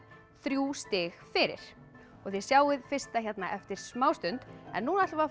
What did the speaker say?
þrjú stig fyrir og þið sjáið fyrsta hérna eftir smá stund en nú ætlum við